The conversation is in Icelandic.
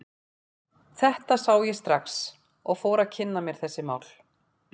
Þetta sá ég strax og ég fór að kynna mér þessi mál.